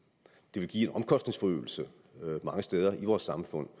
ville give en omkostningsforøgelse mange steder i vores samfund